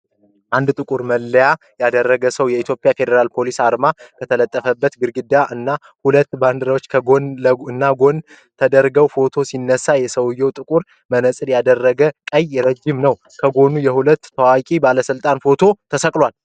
አንድ ጥቁር መለዮ ያደረገ ሰው፣ የኢትዮጵያ ፌደራል ፖሊስ አርማ ከተለጠፈበት ግድግዳ እና ሁለት ባንድራዎች ከጎን እና ከጎን ተደርገው ፎቶ ሲነሳ፤ ሰዉየው ጥቁር መነጽር ያደረገ ቀይ፣ ረጅም ነው። ከጎን የሁለት ታዋቂ ባለስልጣናት ፎቶ ተሰቅሏል ።